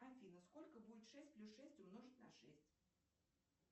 афина сколько будет шесть плюс шесть умножить на шесть